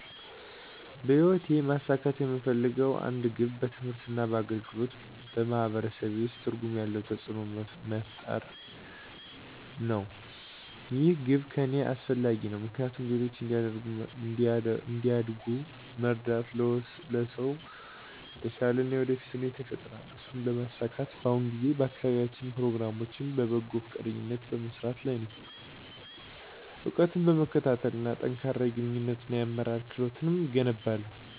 በህይወቴ ማሳካት የምፈልገው አንድ ግብ በትምህርት እና በአገልግሎት በማህበረሰቤ ውስጥ ትርጉም ያለው ተጽእኖ መፍጠርሰው መሆን ነው። ይህ ግብ ለእኔ አስፈላጊ ነው ምክንያቱም ሌሎች እንዲያድጉ መርዳት ለሁሉም ሰው የተሻለ የወደፊት ሁኔታ ይፈጥራል። እሱን ለማሳካት በአሁኑ ጊዜ በአካባቢያዊ ፕሮግራሞች በበጎ ፈቃደኝነት በመስራት ላይ ነኝ፣ እውቀትን በመከታተል እና ጠንካራ የግንኙነት እና የአመራር ክህሎቶችን እገነባለሁ።